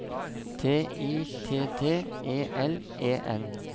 T I T T E L E N